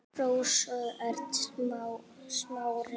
En um hvað snýst gangan?